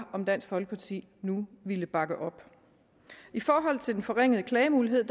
om dansk folkeparti nu ville bakke op i forhold til den forringede klagemulighed